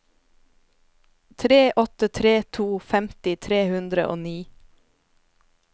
tre åtte tre to femti tre hundre og ni